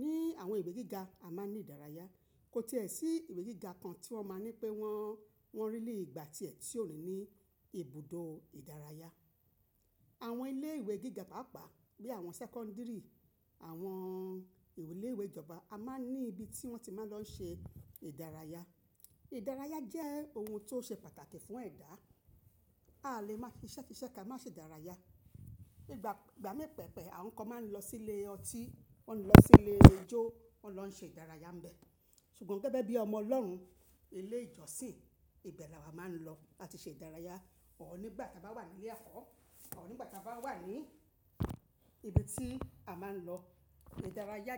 Ni àwọn ìwé gíga a máa ń ní ìdárayá. Kò ti è sí ìwé gíga kan tí wọ́n máa ń ní pé wọ́n, wọ́n really gbà tíẹ̀ ti ò ní ní ibùdó ìdárayá. Àwọn ilé ìwé gíga pàápàá bí i àwọn sẹ́kọ́ńdírì, àwọn ìwé ilé ìwé ìjọba a máa ń ní ibi tí wọ́n ti máa ń lọ ṣe ìdárayá. Ìdárayá jẹ́ ohun tó ṣe pàtàkì fún ẹ̀dá. A lè máa si iṣẹ́ sí iṣẹ́ ka má ṣe ìdárayá. Nígbà ìgbà mí pẹpẹ, àwọn kan máa ń lọ sí ilé ọtí, wọ́n máa ń lọ sí ilé ijó, wọ́n máa ń lọ ṣe ìdárayá níbẹ̀. Ṣùgbọ́n gẹ́gẹ́ bí ọmọ Ọlọ́run, ilé ìjọsìn ibẹ̀ ni a máa ń lọ láti ṣe ìdárayá. Or nígbà tí a bá wà ní ilé ẹ̀kọ́, or nígbà tí a bá wà ní ibi tí a máa ń lọ ìdárayá.